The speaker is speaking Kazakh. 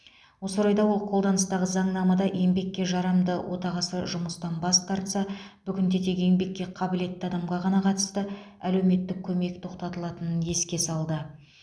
осы орайда ол қолданыстағы заңнамада еңбекке жарамды отағасы жұмыстан бас тарса бүгінде тек еңбекке қабілетті адамға ғана қатысты әлеуметтік көмек тоқтатылатынын еске салды